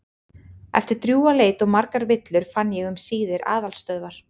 Eftir drjúga leit og margar villur fann ég um síðir aðalstöðvar